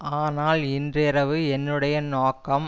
ஆனால் இன்றிரவு என்னுடைய நோக்கம்